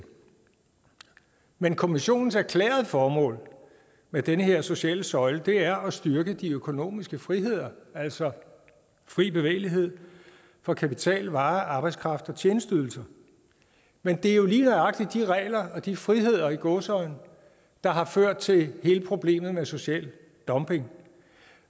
men kommissionens erklærede formål med den her sociale søjle er at styrke de økonomiske friheder altså fri bevægelighed for kapital varer arbejdskraft og tjenesteydelser men det er jo lige nøjagtig de regler og de friheder i gåseøjne der har ført til hele problemet med social dumping